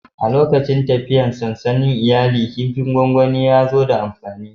A lokacin tafiyar sansanin iyali, kifin gwangwani ya zo da amfani.